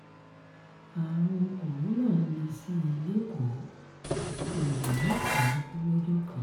àrùn corona ń le sí i lẹ́kọ̀ọ́ èèyàn mẹ́sàn-án kú lọ́jọ́ kan